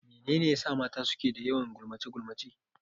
Mene ne ya sa mata ke da yawan gulmace-gulmace?